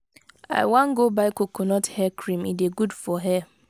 i wan go buy coconut hair cream e dey good for hair.